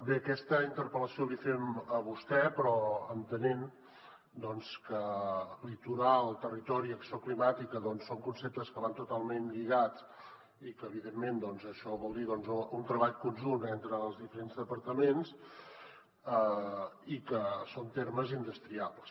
bé aquesta interpel·lació l’hi fem a vostè però entenent doncs que litoral territori i acció climàtica són conceptes que van totalment lligats i que evidentment això vol dir un treball conjunt entre els diferents departaments i que són termes indestriables